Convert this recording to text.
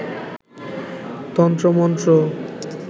তন্ত্র মন্ত্র